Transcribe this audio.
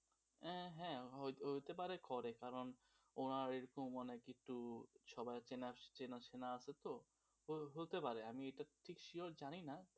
হ্যাঁ হ্যাঁ হয়ত হইতে পারে করে কারণ ওরা একটু মানে একটু সবাই চেনা শোনা আছে তো হতে পারে আমি এটা sure জানি না.